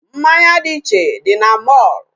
Mmanya dị iche dị na mall.